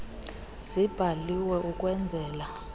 zibhaliwe ukwen zela